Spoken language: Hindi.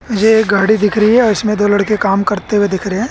ये एक गाड़ी दिख रही है इसमें दो लड़के काम करते हुए दिख रहे--